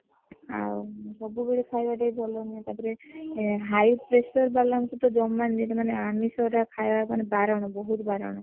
ଆଉ ସବୁ ବେଳେ ଖାଇବାଟା ବି ଭଲ ନୁହେଁ ତାଦେହରେ high pressure ବାଲାଂକୁ ତ ଜମା ନୁହ ସେମନଂକୁ ଆମିଷ ଖାଇବାଟା ମାନେ ବାରଣ ବହୁତ ବାରଣ।